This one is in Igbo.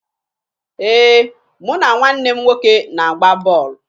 Ee, mụ na nwanne m nwoke na-agba bọọlụ